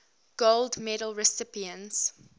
gold medal recipients